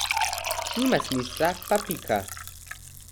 Nima smisla pa pika.